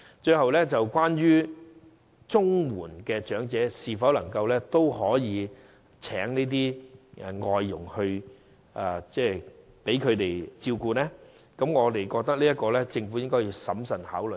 最後，領取綜援的長者是否也可聘請外傭來照顧他們，我們認為政府應審慎考慮這點。